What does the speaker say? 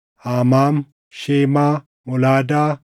Amaam, Shemaa, Molaadaa,